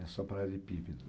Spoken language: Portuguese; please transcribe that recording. É só paralelepípedo